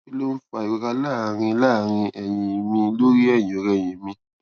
kí ló ń fa ìrora láàárín láàárín èyìn mi lórí èyìnòrẹyìn mi